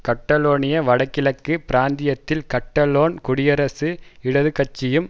Catalonia வடகிழக்கு பிராந்தியத்தில் Catalan குடியரசு இடது கட்சியும்